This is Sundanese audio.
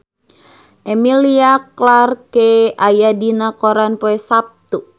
Emilia Clarke aya dina koran poe Saptu